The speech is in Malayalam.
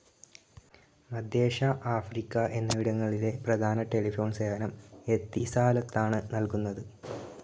മധ്യേഷ്യ, ആഫ്രിക്ക എന്നിവടിങ്ങളിലെ പ്രധാന ടെലിഫോൺ സേവനം എത്തിസാലാത്താണ് നൽകുന്നത്.